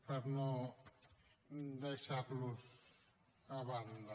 per no deixar los a banda